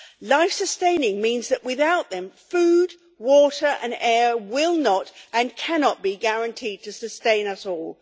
Life sustaining means that without them food, water and air will not and cannot be guaranteed to sustain us all.